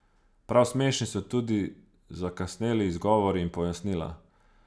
Prav smešni so tudi zakasneli izgovori in pojasnila.